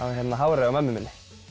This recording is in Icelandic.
hárinu á mömmu minni